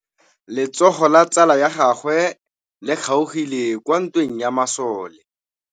Letsôgô la tsala ya gagwe le kgaogile kwa ntweng ya masole.